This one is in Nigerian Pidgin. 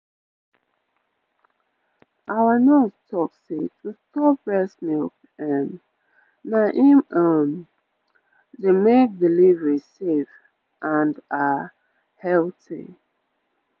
our nurse talk say to store breast milk um na em um dey make delivery safe and ah healthy